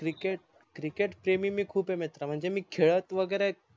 cricket cricket प्रेमी मी खूप आहे मित्रा म्हणजे मी खेडत वगेरे